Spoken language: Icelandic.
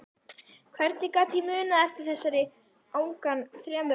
Hvernig gat ég munað eftir þessari angan þremur áratugum síðar?